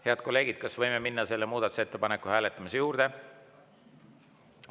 Head kolleegid, kas võime minna selle muudatusettepaneku hääletamise juurde?